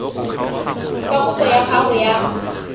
fa kopo ya gago ya